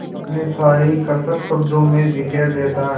अपनी सारी कसक शब्दों में बिखेर देता है